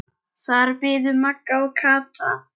Þar biðu Magga og Kata.